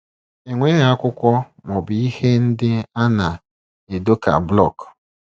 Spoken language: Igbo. E nweghị akwụkwọ ma ọ bụ ihe ndị a na - edo ka blọk.